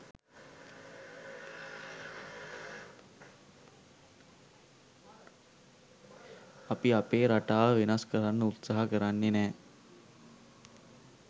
අපි අපේ රටාව වෙනස් කරන්න උත්සාහ කරන්නෙ නැහැ